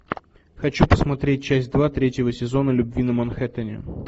хочу посмотреть часть два третьего сезона любви на манхэттене